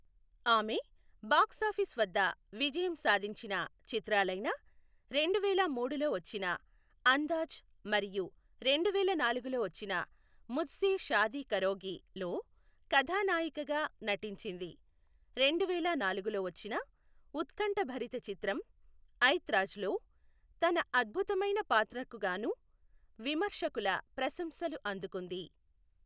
ఆమె బాక్సాఫీస్ వద్ద విజయం సాధించిన చిత్రాలైన రెండువేల మూడులో వచ్చిన అందాజ్ మరియు రెండువేల నాలుగులో వచ్చిన ముజ్సే షాదీ కరోగిలో కథానాయికగా నటించింది, రెండువేల నాలుగులో వచ్చిన ఉత్కంఠభరిత చిత్రం ఐత్రాజ్లో తన అద్భుతమైన పాత్రకు గాను విమర్శకుల ప్రశంసలు అందుకుంది.